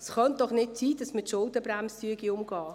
Es könne doch nicht sein, dass man die Schuldenbremse umgehe.